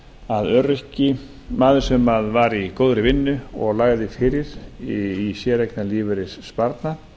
að öryrki maður sem var í góðri vinnu og lagði fyrir í séreignarlífeyrissparnað